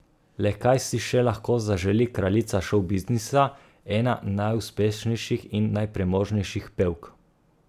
Le kaj si še lahko zaželi kraljica šovbiznisa, ena najuspešnejših in najpremožnejših pevk?